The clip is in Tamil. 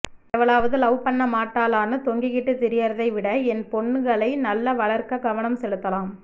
எவளாவது லவ் பண்ண மாட்டாளான்னு தொங்கிட்டு திரியிறதை விட என் பொண்ணுங்களை நல்லா வளர்க்க கவனம் செலுத்தலாம்